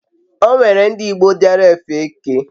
o nwere ndi igbo diara efe eke